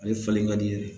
Ale falen ka di ye